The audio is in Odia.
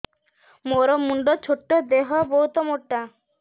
ମୋର ମୁଣ୍ଡ ଛୋଟ ଦେହ ବହୁତ ମୋଟା